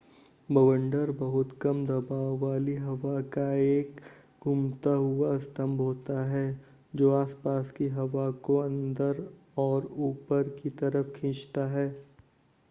बवंडर बहुत कम दबाव वाली हवा का एक घुमता हुवा स्तंभ होता है जो आसपास की हवा को अंदर और ऊपर की तरफ खींचता है